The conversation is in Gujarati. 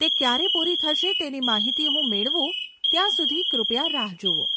તે ક્યારે પૂરી થશે તેની માહિતી હું મેળવું ત્યાં સુધી કૃપયા રાહ જુઓ.